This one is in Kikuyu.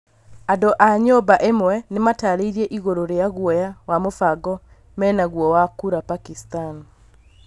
Andũ a nyũmba ĩmwe nĩmatarĩirie igũrũ rĩa gũoya wa mũbango menaguo wa kũra Pakistan